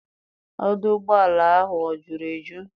Ọdụ ụgbọala ahụ o juru eju?